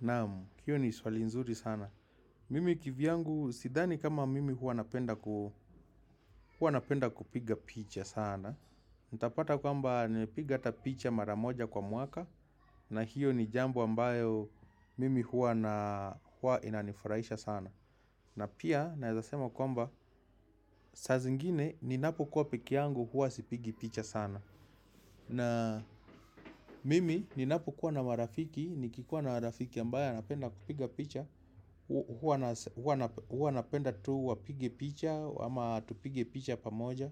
Naam, hiyo ni swali nzuri sana. Mimi kivyangu, sidhani kama mimi huwa napenda kupiga picha sana. Utapata kwamba, nimepiga hata picha mara moja kwa mwaka, na hiyo ni jambo ambayo mimi huwa inanifraisha sana. Na pia, naeza sema kwamba, saa zingine, ninapokuwa peke yangu huwa sipigi picha sana. Na mimi ninapokuwa na marafiki, nikikuwa na marafiki ambaye anapenda kupiga picha. Huwa napenda tu wapige picha ama tupige picha pamoja.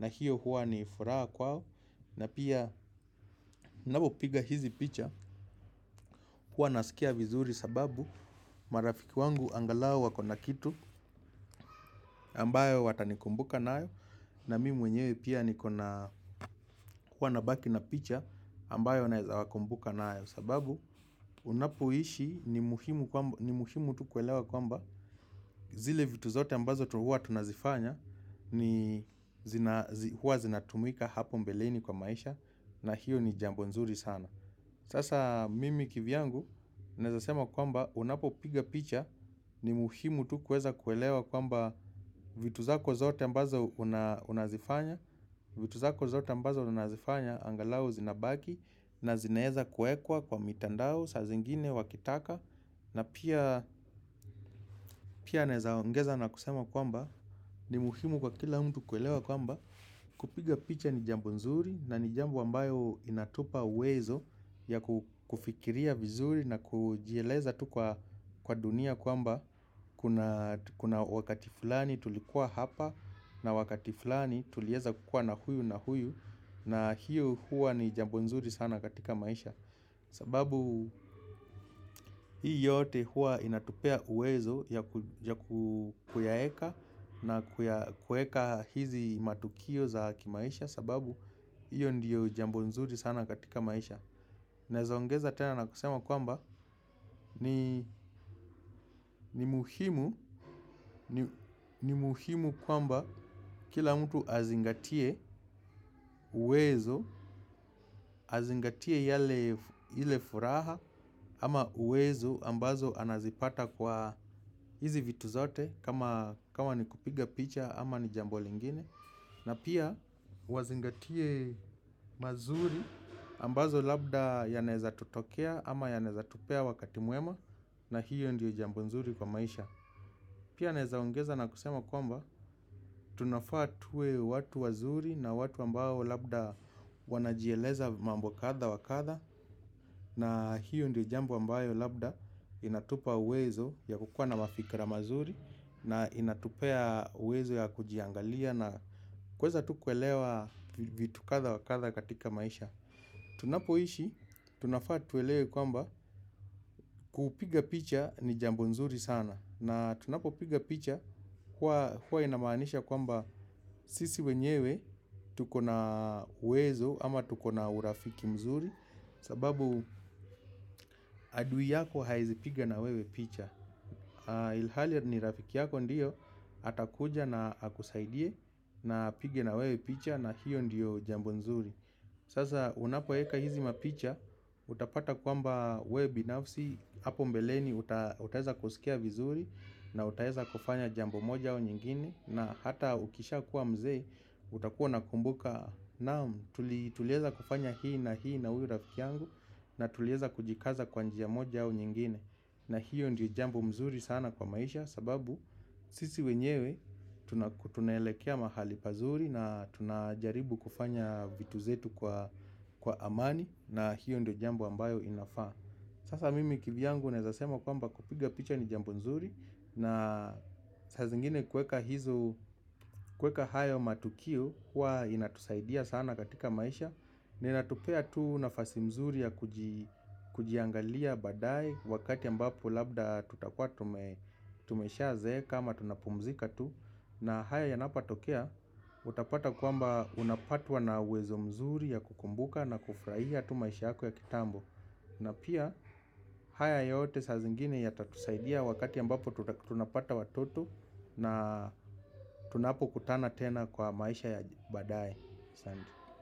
Na hiyo huwa ni furaha kwao. Na pia napopiga hizi picha, huwa nasikia vizuri sababu marafiki wangu angalau wako na kitu ambayo watanikumbuka nayo. Na mimi mwenyewe pia nikona huwa nabaki na picha ambayo naeza wakumbuka nayo sababu unapoishi ni muhimu tu kuelewa kwamba zile vitu zote ambazo tu huwa tunazifanya ni huwa zinatumika hapo mbeleni kwa maisha na hiyo ni jambo nzuri sana. Sasa mimi kivyangu naeza sema kwamba unapopiga picha ni muhimu tu kueza kuelewa kwamba vitu zako zote ambazo unazifanya, vitu zako zote ambazo unazifanya, angalau zinabaki na zinaeza kuekwa kwa mitandao sa zingine wakitaka. Na pia naeza ongeza na kusema kwamba ni muhimu kwa kila mtu kuelewa kwamba kupiga picha ni jambo nzuri na ni jambo ambayo inatupa uwezo ya kufikiria vizuri na kujieleza tu kwa dunia kwamba kuna wakati fulani tulikuwa hapa na wakati fulani tulieza kukua na huyu na huyu. Na hiyo huwa ni jambo nzuri sana katika maisha. Sababu hii yote huwa inatupea uwezo ya kuyaeka na kuweka hizi matukio za kimaisha. Sababu hiyo ndiyo jambo nzuri sana katika maisha. Naeza ongeza tena na kusema kwamba ni muhimu kwamba kila mtu azingatie uwezo. Azingatie ile furaha ama uwezo ambazo anazipata kwa hizi vitu zote kama ni kupiga picha ama ni jambo lingine. Na pia wazingatie mazuri ambazo labda yanaeza tutokea ama yanaeza tupea wakati mwema na hiyo ndiyo jambo nzuri kwa maisha. Pia naeza ongeza na kusema kwamba tunafaa tuwe watu wazuri na watu ambao labda wanajieleza mambo kadha wa kadha na hiyo ndi jambo ambayo labda inatupa uwezo ya kukua na mafikra mazuri na inatupea uwezo ya kujiangalia na kuweza tu kuelewa vitu katha wa katha katika maisha. Tunapoishi, tunafaa tuelewe kwamba kupiga picha ni jambo nzuri sana. Na tunapopiga picha, huwa inamaanisha kwamba sisi wenyewe, tuko na uwezo ama tuko na urafiki mzuri, sababu adui yako haezi piga na wewe picha. Ilhali ni rafiki yako ndiyo, atakuja na akusaidie na apige na wewe picha na hiyo ndiyo jambo nzuri. Sasa unapoweka hizi mapicha, utapata kwamba wewe binafsi, hapo mbeleni utaeza kusikia vizuri na utaeza kufanya jambo moja au nyingine na hata ukishakuwa mzee, utakuwa unakumbuka naam, tulieza kufanya hii na hii na huyu rafiki yangu na tulieza kujikaza kwa njia moja au nyingine. Na hiyo ndio jambo mzuri sana kwa maisha sababu sisi wenyewe tunaelekea mahali pazuri na tunajaribu kufanya vitu zetu kwa amani na hiyo ndio jambo ambayo inafaa. Sasa mimi kivyangu naeza sema kwamba kupiga picha ni jambo nzuri. Na saa zingine kuweka hizo kuweka hayo matukio huwa inatusaidia sana katika maisha. Na inatupea tu nafasi mzuri ya kujiangalia baadaye. Wakati ambapo labda tutakuwa tumeshazeeka ama tunapumzika tu. Na haya yanapatokea utapata kwamba unapatwa na uwezo mzuri ya kukumbuka na kufraia tu maisha yako ya kitambo. Na pia haya yote saa zingine yatatusaidia wakati ambapo tunapata watoto na tunapokutana tena kwa maisha ya baadaye.